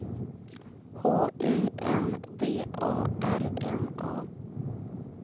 H U N D A R N A